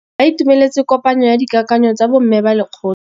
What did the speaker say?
Ba itumeletse kôpanyo ya dikakanyô tsa bo mme ba lekgotla.